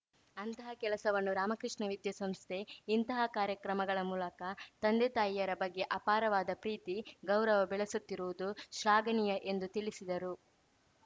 ಅಂತಹ ಕೆಲಸವನ್ನು ರಾಮಕೃಷ್ಣ ವಿದ್ಯಾಸಂಸ್ಥೆ ಇಂತಹ ಕಾರ್ಯಕ್ರಮಗಳ ಮೂಲಕ ತಂದೆ ತಾಯಿಯರ ಬಗ್ಗೆ ಅಪಾರವಾದ ಪ್ರೀತಿ ಗೌರವ ಬೆಳೆಸುತ್ತಿರುವುದು ಶ್ಲಾಘನೀಯ ಎಂದು ತಿಳಿಸಿದರು